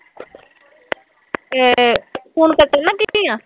ਏ, ਹੁਣ ਕੱਟਣ ਲੱਗੀ ਆ